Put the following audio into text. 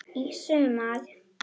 Í sumar.